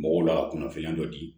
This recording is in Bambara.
Mɔgɔw la kunnafoniya dɔ di